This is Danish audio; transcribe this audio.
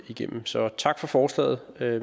igennem så tak for forslaget